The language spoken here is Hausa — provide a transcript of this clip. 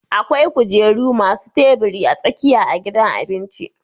Akwai kujeru masu tabiri a tsakiya a gidan abinci